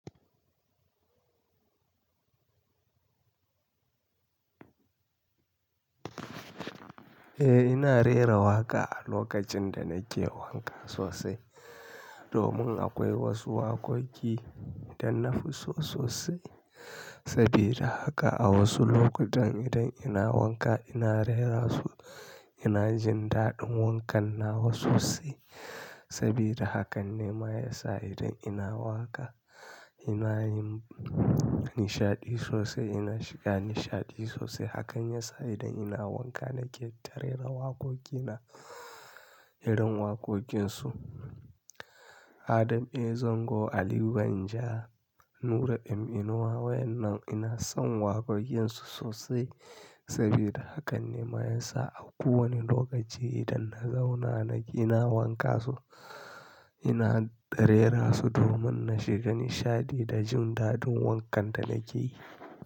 Eh ina rera waƙa a lokacin da nake wanka sosai, domin akwai wasu waƙoƙi da na fi so sosai. Sabida haka a wasu lokutan idan ina wanka ina rera su, ina jin daɗin wankan nawa sosai. Sabida hakan ne ma ya sa idan ina waƙa ina yin nishaɗi sosai, ina shiga nishaɗi sosai. Hakan ya sa idan ina wanka nake ta rera da waƙoƙi na, irin waƙoƙin su Adam A. Zango, Aliyu Danja, Nura M nuwa. Waɗannan ina son waƙoƙin su sosai sabi da hakan ne ma ya sa a kowane lokaci idan na zauna ina wanka su, ina rera su domin na shiga nishaɗi da jin daɗin wankan da nake yi.